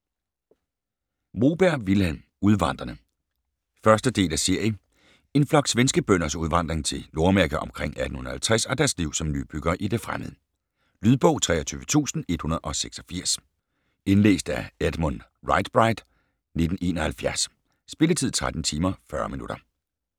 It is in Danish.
Moberg, Vilhelm: Udvandrerne 1. del af serie. En flok svenske bønders udvandring til Nordamerika o. 1850 og deres liv som nybyggere i det fremmede. Lydbog 23186 Indlæst af Edmund Riighsbright, 1971. Spilletid: 13 timer, 40 minutter.